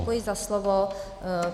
Děkuji za slovo.